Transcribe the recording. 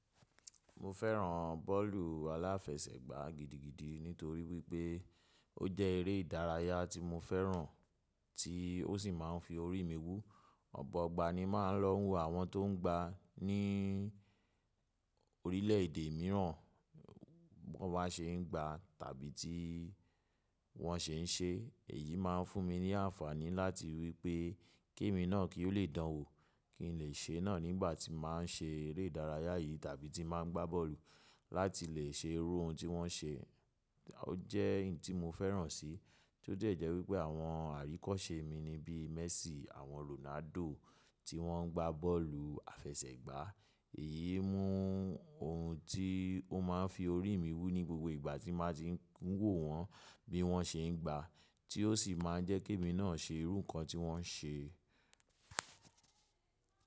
Mo fẹ́ràn bọ́ọ̀lù aláfẹsẹ̀gbá gidigidi nítorí wípé ó jẹ́ eré ìdárayá tí mo fẹ́ràn tí ó sì máa ń fi orí mi wú. Ọ̀pọ̀ ọgbà ni máa ń lọ wo àwọn tó ń gba ní orílẹ̀èdè mìíràn wọ́n bá ṣe ń gbá tàbí tí wọ́n ṣe ń ṣe. Èyí máa ń fún mi ní àǹfààní láti ríi wípé kí èmi náà kí ó lè dánwò kí n lè ṣe náà nígbà tí màá ń ṣe eré ìdárayá yìí tàbí tí màá ń gbá bọ́ọ̀lù láti lè ṣe irú ohun tí wọ́n ṣe. Ó jẹ́ ohun tí mo fẹ́ràn síi tí ó jẹ́ jẹ́ wípé àwọn àríkọ́ṣe mi ni bí Messi, àwọn Ronaldo tí wọ́n ń gbá bọ́ọ̀lù aláfẹsẹ̀gbá. Èyí mú ohun tí ó máa ń fi orí mi wú ní gbogbo ìgbà tí màá ti ń wò wọ́n bí wọ́n ṣe ń gbá tí ó sì máa n jẹ́ kí èmi náà ṣe irú nǹkan tí wọ́n ń ṣe.